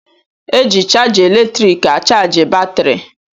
E ji chaja eletriiki achaji batrị.